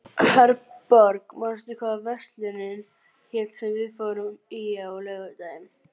Herborg, manstu hvað verslunin hét sem við fórum í á laugardaginn?